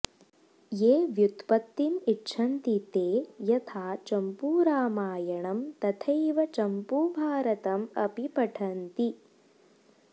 ये व्युत्पत्तिम् इच्छन्ति ते यथा चम्पूरामायणं तथैव चम्पूभारतम् अपि पठन्ति